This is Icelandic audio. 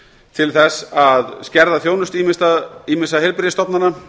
til þess að skerða þjónustu ýmissa heilbrigðisstofnana